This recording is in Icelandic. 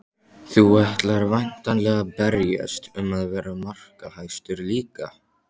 Þú ætlar væntanlega að berjast um að vera markahæstur líka?